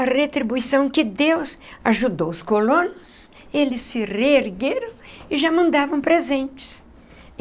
a retribuição que Deus ajudou os colonos, eles se reergueram e já mandavam presentes.